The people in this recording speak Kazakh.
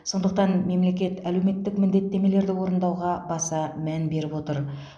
сондықтан мемлекет әлеуметтік міндеттемелерді орындауға баса мән беріп отыр